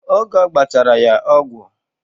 Oge ọgbachara ya ọgwụ